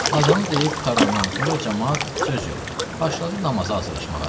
Azanı deyib qurtarandan sonra camaat söz yox, başladı namaza hazırlaşmağa.